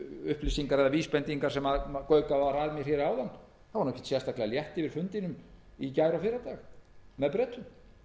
upplýsingar eða vísbendingar sem gaukað var að mér áðan þá var ekkert sérstaklega létt fyrir fundinum í gær og fyrradag með bretum